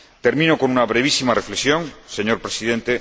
Termino con una brevísima reflexión, señor Presidente.